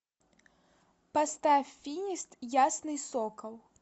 поставь финист ясный сокол